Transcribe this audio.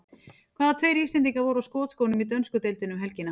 Hvaða tveir Íslendingar voru á skotskónum í dönsku deildinni um helgina?